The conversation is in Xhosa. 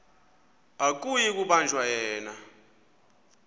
akuyi kubanjwa yena